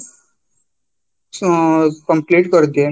ଉଁ complete କରିଦିଏ